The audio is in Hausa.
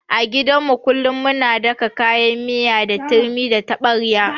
A gidan mu kullun muna daka kayan miya da turmi da taɓarya.